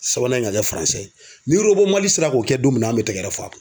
Sabanan in ka kɛ ye ni mali sera k'o kɛ don min na an bɛ tɛgɛ f'a kun